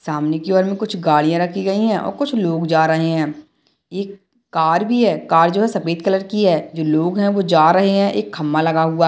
सामने कि और कुछ गाड़ियाँ रखी गई हैं और कुछ लोग जा रहे है एक कार भी है कार जो है सफ़ेद कलर कि है लोग जो है वो जा रहे है एक खंभा लगा हुआ --